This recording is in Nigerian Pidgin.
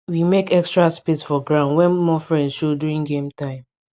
we mek extra space for ground when more friends show during game time